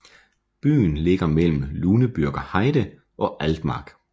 Byen ligger mellem Lüneburger Heide og Altmark